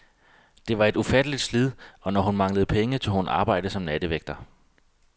Det var et ufatteligt slid, og når hun manglede penge tog hun arbejde som nattevægter.